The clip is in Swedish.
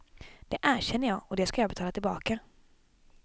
Det erkänner jag och det ska jag betala tillbaka.